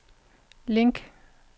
link